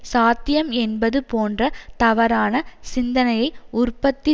சாத்தியம் என்பது போன்ற தவறான சிந்தனையை உற்பத்தி